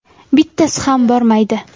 Bittasi ham bormaydi!